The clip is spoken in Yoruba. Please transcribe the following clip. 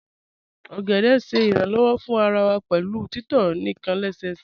Ogede ṣẹ iranlọwọ̀ fún àrà wà pẹ̀lú títọ̀ níkan lẹ́sẹ̀sẹ̀